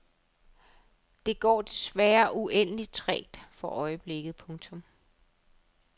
Det går desværre uendeligt trægt for øjeblikket. punktum